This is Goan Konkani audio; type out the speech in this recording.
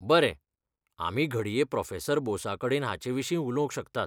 बरें, आमी घडये प्रोफेसर बोसा कडेन हाचे विशीं उलोवंक शकतात.